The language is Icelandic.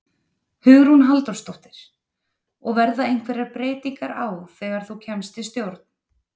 Hugrún Halldórsdóttir: Og verða einhverjar breytingar á þegar þú kemst í stjórn?